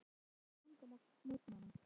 Hvað ertu lengi að koma þér í gagn á morgnana?